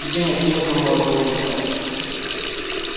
день отъезду мой был назначен